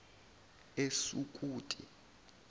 esukuti